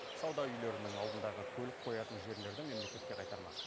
сауда үйлерінің алдындағы көлік қоятын жерлерді мемлекетке қайтармақ